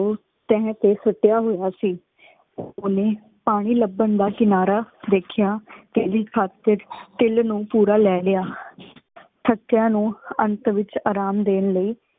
ਉਹ ਤਹ ਤੇ ਸੁਟਿਆ ਹੋਯਾ ਸੀ। ਓਹਨੇ ਪਾਣੀ ਲਬੰਨ ਦਾ ਕਿਨਾਰਾ ਦੇਖ੍ਯਾ ਕਹਿੰਦੀ ਤਿਲ ਨੂ ਪੂਰਾ ਲੈ ਲਿਆ। ਸਤਯਾ ਨੂ ਅੰਤ ਵਿਚ ਆਰਾਮ ਦੇਣ ਲਈ